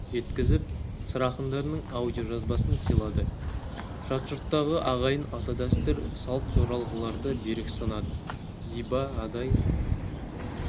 жеткізіп сыр ақындарының аудиожазбасын сыйлады жат жұрттағы ағайын ата-дәстүр салт жоралғыларды берік ұстанады зиба адай